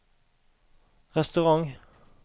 restaurant